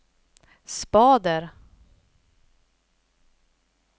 spader